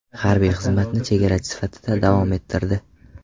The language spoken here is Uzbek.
Harbiy xizmatni chegarachi sifatida davom ettirdi.